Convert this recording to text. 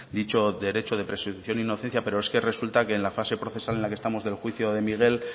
dicho derecho de presunción de inocencia pero es que resulta que en la fase procesal en la que estamos del juicio de miguel